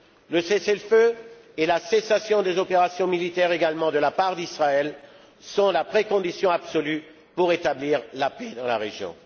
Le cessez le feu et la cessation des opérations militaires, également de la part d'Israël, sont la condition préalable absolue pour rétablir la paix dans la région.